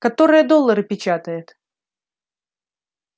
которая доллары печатает